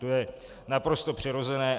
To je naprosto přirozené.